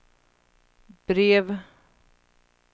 brev